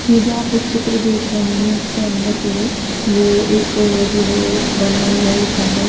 ये जो आप एक चित्र देख रहे हैं इसके अंदर जो है वो एक जो है बना हुआ है--